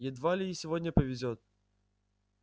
едва ли и сегодня повезёт